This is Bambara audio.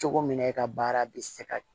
Cogo min na e ka baara bɛ se ka